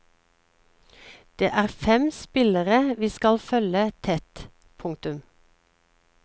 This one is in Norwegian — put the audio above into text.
Det er fem spillere vi skal følge tett. punktum